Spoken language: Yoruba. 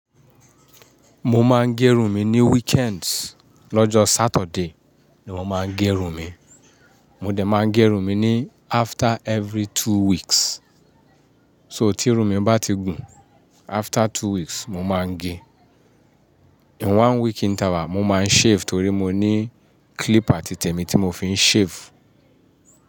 Mo máa ń gé irun mi ní weekends. Lọ́jọ́ Saturday ni mo máa ń gé irun mi. Mo dẹ̀ máa ń gé irun mi ní after every two weeks. So tí irun mi bá ti gùn after two weeks, mo máa ń gé. In one week níta wa, mo máa ń shave torí mo ní clipper ti tẹ̀mí tí mo fi ń shave.